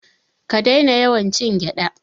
Ka daina yawan cin gyada.